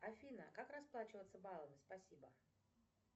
афина как расплачиваться баллами спасибо